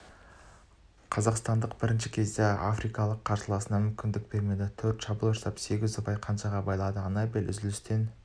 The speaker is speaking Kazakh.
қазақстандық бірінші кезеңде африкалық қарсыласына мүмкіндік бермеді төрт шабуыл жасап сегіз ұпайды қанжығаға байлады анабель үзілістен